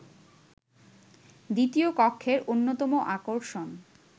দ্বিতীয় কক্ষের অন্যতম আকর্ষণ